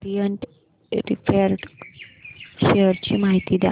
Orient refract share ची माहिती द्या